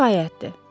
Bu kifayətdir.